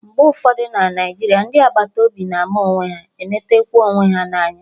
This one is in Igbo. Mgbe ụfọdụ na Naijiria, ndị agbata obi na-ama onwe ha, eletekwa onwe ha anya